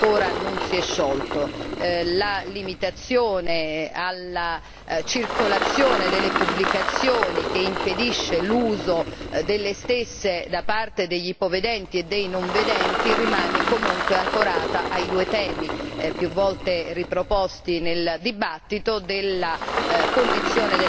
La limitazione alla circolazione delle pubblicazioni che impedisce l'uso delle stesse da parte degli ipovedenti e dei non vedenti rimane comunque ancorata ai due temi più volte riproposti nel dibattito della condizione della commerciabilità e